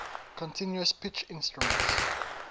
continuous pitch instruments